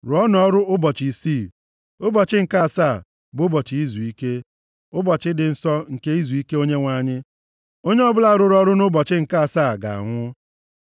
Rụọnụ ọrụ ụbọchị isii, ụbọchị nke asaa bụ ụbọchị izuike, ụbọchị dị nsọ nke izuike nye Onyenwe anyị. Onye ọbụla rụrụ ọrụ nʼụbọchị nke asaa ga-anwụ.